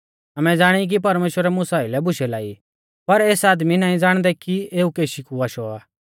आमै ज़ाणी कि परमेश्‍वरै मुसा आइलै बुशै लाई पर एस आदमी नाईं ज़ाणदै कि एऊ केशी कु आशौ आ